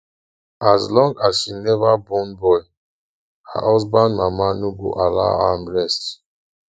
as long as she never born boy her husband mama no go allow am rest